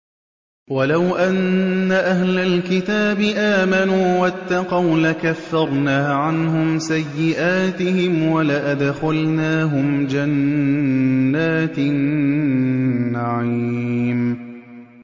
وَلَوْ أَنَّ أَهْلَ الْكِتَابِ آمَنُوا وَاتَّقَوْا لَكَفَّرْنَا عَنْهُمْ سَيِّئَاتِهِمْ وَلَأَدْخَلْنَاهُمْ جَنَّاتِ النَّعِيمِ